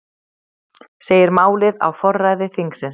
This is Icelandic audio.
Segir málið á forræði þingsins